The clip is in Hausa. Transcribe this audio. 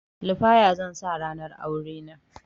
Lafaya zan sa ranar aurena